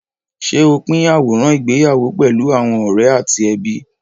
Ṣé o pín àwòrán ìgbéyàwó pẹ̀lú àwọn ọ̀rẹ́ àti ẹbí?